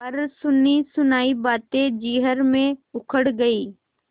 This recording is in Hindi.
पर सुनीसुनायी बातें जिरह में उखड़ गयीं